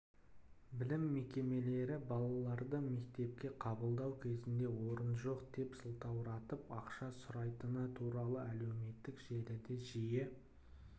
білім мекемелері балаларды мектепке қабылдау кезінде орын жоқ деп сылтауратып ақша сұрайтыны туралы әлеуметтік желіде жиі